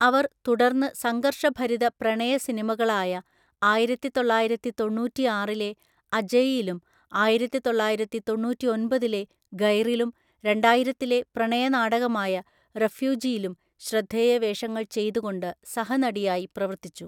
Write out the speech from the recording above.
അവർ തുടർന്ന് സംഘർഷഭരിതപ്രണയ സിനിമകളായ ആയിരത്തിതൊള്ളായിരത്തി തൊണ്ണൂറ്റി ആറിലെ അജയ് യിലും ആയിരത്തിതൊള്ളായിരത്തി തൊണ്ണൂറ്റി ഒന്‍പതിലെ ഗൈറിലും രണ്ടായിരത്തിലെ പ്രണയനാടകമായ റെഫ്യൂജിയിലും ശ്രദ്ധേയവേഷങ്ങൾ ചെയ്തുകൊണ്ട് സഹനടിയായി പ്രവർത്തിച്ചു.